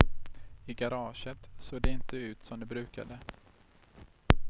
I garaget såg det inte ut som det brukade.